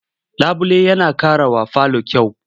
Labule yana ƙarawa falo kyau.